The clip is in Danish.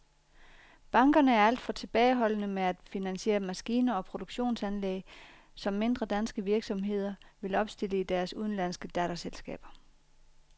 Bankerne er alt for tilbageholdende med at finansiere maskiner og produktionsanlæg, som mindre danske virksomheder vil opstille i deres udenlandske datterselskaber.